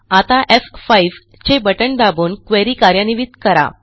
आता एफ5 चे बटण दाबून क्वेरी कार्यान्वित करा